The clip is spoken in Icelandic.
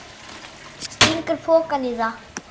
Stingur pokanum í það.